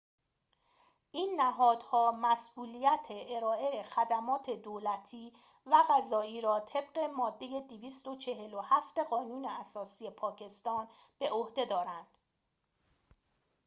این نهادها مسئولیت ارائه خدمات دولتی و قضایی را طبق ماده ۲۴۷ قانون اساسی پاکستان به عهده دارند